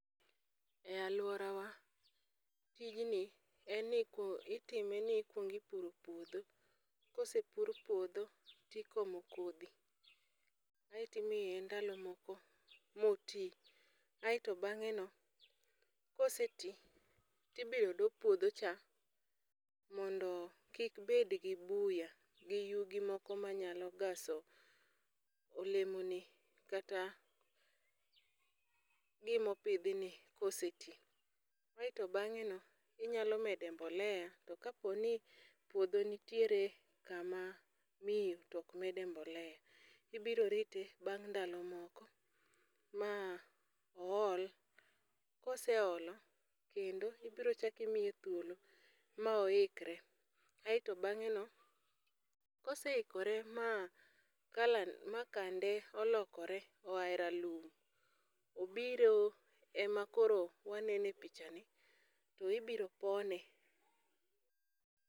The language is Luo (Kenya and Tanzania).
E alwora wa, tijni en ni ko itime ni ikwongi puro puodho. Kose pur puodho tikomo kodhi, aeti miye ndalo moko moti. Aeto bang'e no kose ti, tibiro do puodho cha mondo kik bed gi buya gi yugi moko ma nyalo gaso olemo ni kata gimo pidh ni kose ti. Aeto beng'e no inyalo mede mbolea to kaponi puodho nitiere kama miyo tok mede mbolea. Ibiro rite bang' ndalo moko ma ool, koseolo kendo ibro chak imiye thuolo ma oikre. Aeto bang'e no kose ikore ma kalan ma kande olokore oae ralum, obiro ema koro wanene picha i, to ibiro pone.